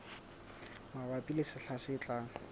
mabapi le sehla se tlang